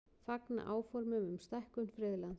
Fagna áformum um stækkun friðlands